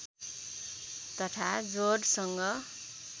तथा जोडसँग